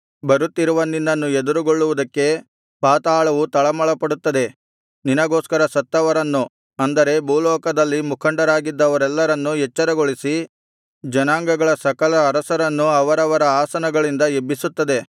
ಬರುತ್ತಿರುವ ನಿನ್ನನ್ನು ಎದುರುಗೊಳ್ಳುವುದಕ್ಕೆ ಪಾತಾಳವು ತಳಮಳಪಡುತ್ತದೆ ನಿನಗೋಸ್ಕರ ಸತ್ತವರನ್ನು ಅಂದರೆ ಭೂಲೋಕದಲ್ಲಿ ಮುಖಂಡರಾಗಿದ್ದವರೆಲ್ಲರನ್ನು ಎಚ್ಚರಗೊಳಿಸಿ ಜನಾಂಗಗಳ ಸಕಲ ಅರಸರನ್ನು ಅವರವರ ಆಸನಗಳಿಂದ ಎಬ್ಬಿಸುತ್ತದೆ